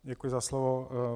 Děkuji za slovo.